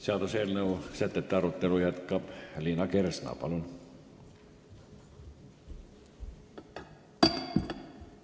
Seaduseelnõu sätete arutelu jätkab Liina Kersna.